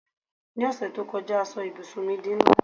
ni ọsẹ ti o kọjá a so ibùsùn mi di nla